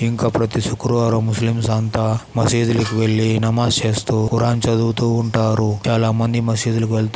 ఇంకా ప్రతి శుక్రవారం ముస్లిం అంతా మసీదులకి వెళ్ళి నమాజ్ చేస్తూ పురాన్ చదువుతూ ఉంటారు. చాలామంది మసీదులకు వెళ్తూ--